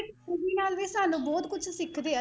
ਸਾਨੂੰ ਬਹੁਤ ਕੁਛ ਸਿੱਖਦੇ ਹੈ,